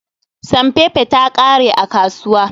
Sanfefe ta ƙare a kasuwa.